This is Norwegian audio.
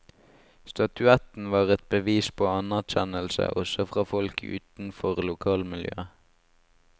Statuetten var et bevis på anerkjennelse også fra folk utenfor lokalmiljøet.